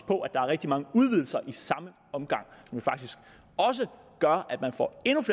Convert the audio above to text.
på at der er rigtig mange udvidelser i samme omgang som faktisk også gør